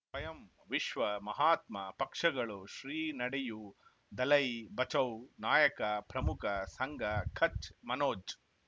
ಸ್ವಯಂ ವಿಶ್ವ ಮಹಾತ್ಮ ಪಕ್ಷಗಳು ಶ್ರೀ ನಡೆಯೂ ದಲೈ ಬಚೌ ನಾಯಕ ಪ್ರಮುಖ ಸಂಘ ಕಚ್ ಮನೋಜ್